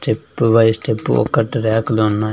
Step by step ఒకటి ర్యాకులు ఉన్నాయి.